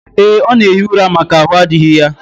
Ee, ọ na-ehi ura maka ahụ adịghị ya